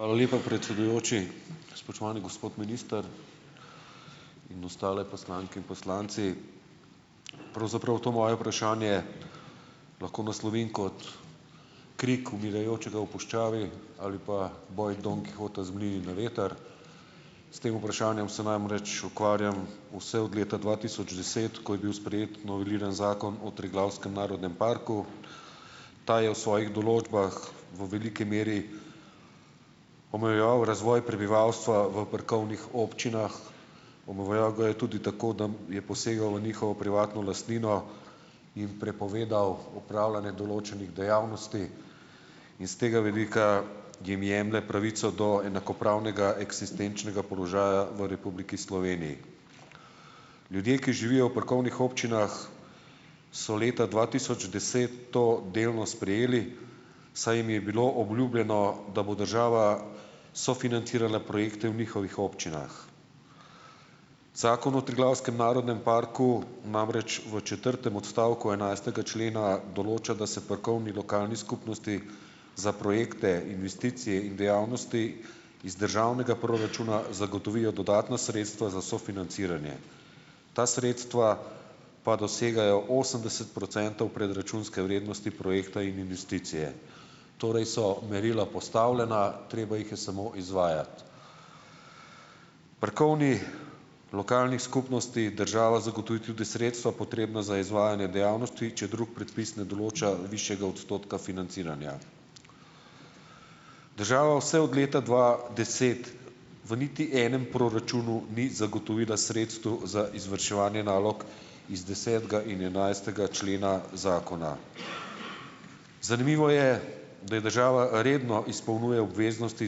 Hvala lepa, predsedujoči. Spoštovani gospod minister in ostale poslanke in poslanci! Pravzaprav to moje vprašanje lahko naslovim kot krik umirajočega v puščavi ali pa boj Don Kihota z mlini na veter. S tem vprašanjem se namreč ukvarjam vse od leta dva tisoč deset, ko je bil sprejet noveliran zakon o Triglavskem narodnem parku. Ta je v svojih določbah v veliki meri omejeval razvoj prebivalstva v parkovnih občinah, omejeval ga je tudi tako, da je posegal v njihovo privatno lastnino in prepovedal opravljanje določenih dejavnosti in s tega vidika jim jemlje pravico do enakopravnega eksistenčnega položaja v Republiki Sloveniji. Ljudje, ki živijo v parkovnih občinah, so leta dva tisoč deset to delno sprejeli, saj jim je bilo obljubljeno, da bo država sofinancirala projekte v njihovih občinah. Zakon o Triglavskem narodnem parku namreč v četrtem odstavku enajstega člena določa, da se parkovni lokalni skupnosti za projekte investicij in dejavnosti iz državnega proračuna zagotovijo dodatna sredstva za sofinanciranje. Ta sredstva pa dosegajo osemdeset procentov predračunske vrednosti projekta in investicije. Torej so merila postavljena, treba jih je samo izvajati. Parkovni lokalni skupnosti država zagotovi tudi sredstva, potrebna za izvajanje dejavnosti, če drugi predpis ne določa višjega odstotka financiranja. Država vse od leta dva deset v niti enem proračunu ni zagotovila sredstev za izvrševanje nalog iz desetega in enajstega člena zakona. Zanimivo je, da je država redno izpolnjuje obveznosti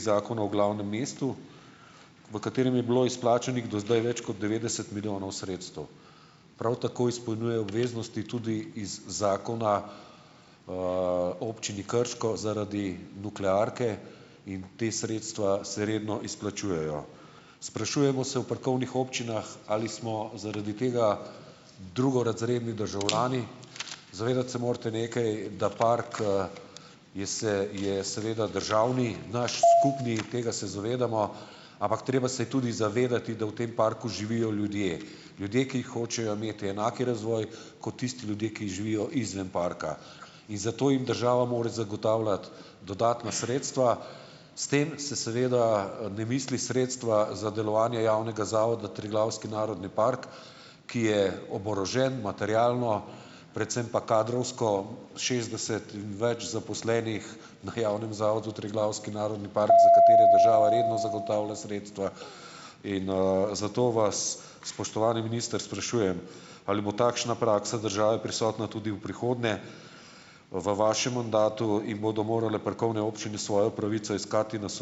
Zakona o glavnem mestu, v katerem je bilo izplačanih do zdaj več kot devetdeset milijonov sredstev. Prav tako izpolnjuje obveznosti iz zakona Občini Krško zaradi nuklearke in ta sredstva se redno izplačujejo. Sprašujemo se v parkovnih občinah, ali smo zaradi tega drugorazredni državljani? Zavedati se morate nekaj, da park je je seveda državni, naš, skupni, tega se zavedamo, ampak treba se je tudi zavedati, da v tem parku živijo ljudje. Ljudje, ki hočejo imeti enak razvoj kot tisti ljudje, ki živijo izven parka, in zato jim država mora zagotavljati dodatna sredstva. S tem se seveda ne misli sredstva za delovanje javnega zavoda Triglavski narodni park, ki je oborožen materialno, predvsem pa kadrovsko, šestdeset več zaposlenih na javnem zavodu Triglavski narodni park, za katere država redno zagotavlja sredstva, in, zato vas, spoštovani minister sprašujem: Ali bo takšna praksa države prisotna tudi v prihodnje v vašem mandatu in bodo morale parkovne občine svojo pravico iskati na ...